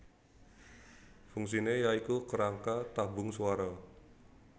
Fungsine ya iku kerangka tabung swara